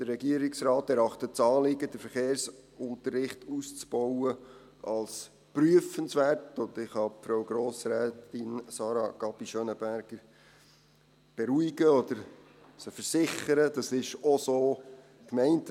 Der Regierungsrat erachtet das Anliegen, den Verkehrsunterricht auszubauen, als prüfenswert, und ich kann Frau Grossrätin Sarah Gabi Schönenberger beruhigen oder ihr versichern, dass es auch so gemeint ist.